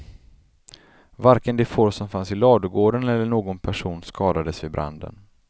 Varken de får som fanns i ladugården eller någon person skadades vid branden.